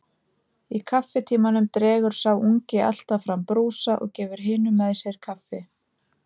Í kaffitímanum dregur sá ungi alltaf fram brúsa og gefur hinum með sér kaffi.